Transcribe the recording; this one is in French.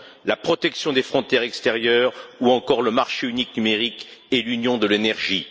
la protection des frontières extérieures, ou encore le marché unique numérique et l'union de l'énergie.